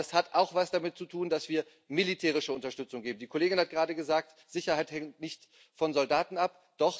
Aber das hat auch etwas damit zu tun, dass wir militärische Unterstützung geben. Die Kollegin hat gerade gesagt Sicherheit hängt nicht von Soldaten ab.